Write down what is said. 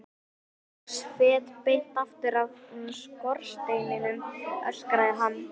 Sex fet beint aftur af skorsteininum, öskraði hann.